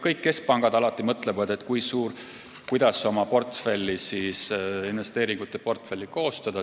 Kõik keskpangad mõtlevad, kuidas oma investeeringuportfelli koostada.